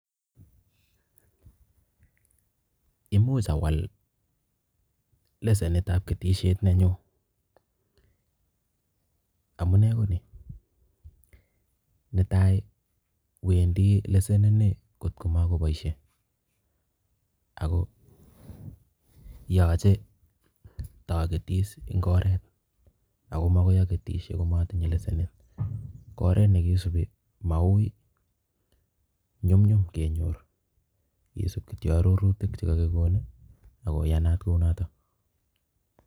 Imuch awal lesenitab ketisiet nenyu. Amune ko ni, netai, wendi lesenini kotko makoboisie ago yoche tagetis eng' oret agoi makoi agetisie komatinye lesenit. Ko oret nekisubi maui, nyumnyum kenyor isub kityo arorutik chekakigonin agoyanat kunotok.